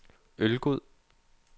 Ølgod